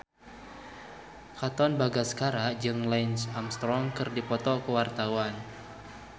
Katon Bagaskara jeung Lance Armstrong keur dipoto ku wartawan